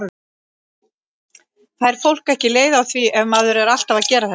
Fær fólk ekki leið á því ef maður er alltaf að gera þetta?